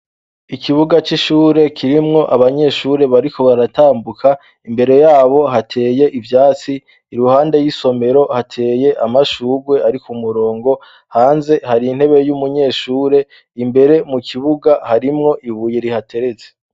Ikibuga c'ishure kirimwo abanyeshure ,bariko baratambuka imbere yabo hateye ivyatsi, iruhande y'isomero hateye amashurwe ari k'umurongo, hanze hari intebe y'umunyeshure ,imbere mu kibuga harimwo ibuye rihateretse.